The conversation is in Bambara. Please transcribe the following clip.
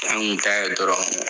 An kun t'a ye dɔrɔn.